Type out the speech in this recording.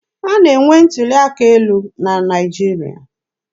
A na-enwe ntuli aka elu na Naịjirịa.